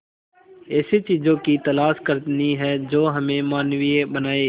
ऐसी चीजों की तलाश करनी है जो हमें मानवीय बनाएं